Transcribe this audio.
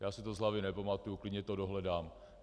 Já si to z hlavy nepamatuji, klidně to dohledám.